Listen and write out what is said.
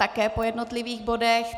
Také po jednotlivých bodech.